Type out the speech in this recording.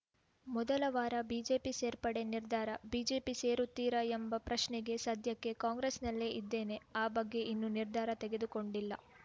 ಮೊದಲ ವಾರ ಬಿಜೆಪಿ ಸೇರ್ಪಡೆ ನಿರ್ಧಾರ ಬಿಜೆಪಿ ಸೇರುತ್ತೀರಾ ಎಂಬ ಪ್ರಶ್ನೆಗೆ ಸದ್ಯಕ್ಕೆ ಕಾಂಗ್ರೆಸ್‌ನಲ್ಲೇ ಇದ್ದೇನೆ ಆ ಬಗ್ಗೆ ಇನ್ನೂ ನಿರ್ಧಾರ ತೆಗೆದುಕೊಂಡಿಲ್ಲ